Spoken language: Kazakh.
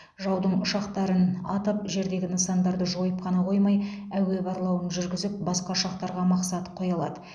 жаудың ұшақтарын атып жердегі нысандарды жойып қана қоймай әуе барлауын жүргізіп басқа ұшақтарға мақсат қоя алады